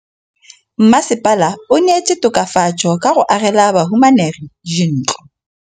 Mmasepala o neetse tokafatsô ka go agela bahumanegi dintlo.